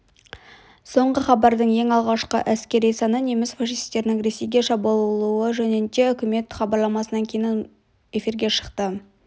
соңғы хабардың ең алғашқы әскери саны неміс фашисттерінің ресейге шабуылы жөнінде үкімет хабарламасынан кейін минуттан соң эфирге шықты